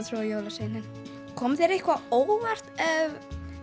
trúa á jólasveininn kom þér eitthvað á óvart